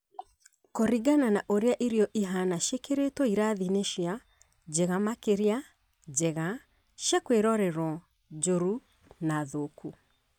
Kũringana na ũrĩa irio ihana ciĩkĩritwo irathi-inĩ cia ; njega makĩria, njega, cia kwĩrorerwo, njũru, na thũku